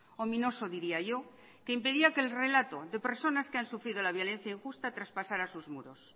ominoso diría yo que impedía que el relato de personas que han sufrido la violencia injusta traspasara sus muros